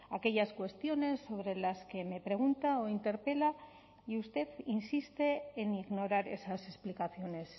aquellas cuestiones sobre las que me pregunta o interpela y usted insiste en ignorar esas explicaciones